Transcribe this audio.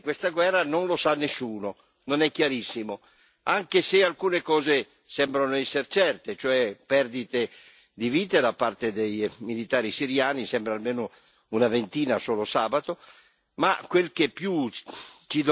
Quello che però sta accadendo realmente in questa guerra non lo sa nessuno, non è chiarissimo, anche se alcune cose sembrano esser certe, cioè perdite di vite da parte dei militari siriani, sembra almeno una ventina solo sabato.